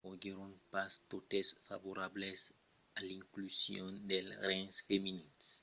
foguèron pas totes favorables a l'inclusion dels rengs femenins